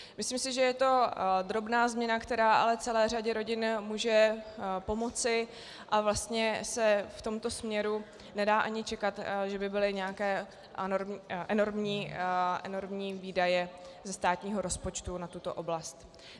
Myslím si, že to je drobná změna, která ale celé řadě rodin může pomoci, a vlastně se v tomto směru nedá ani čekat, že by byly nějaké enormní výdaje ze státního rozpočtu na tuto oblast.